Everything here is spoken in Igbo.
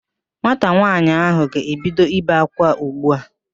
Nwata nwaanyị ahụ ga-ebido ibe ákwá ugbu a